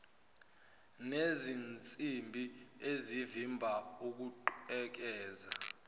nezinsimbi ezivimba ukugqekeza